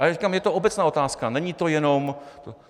Ale říkám, je to obecná otázka, není to jenom...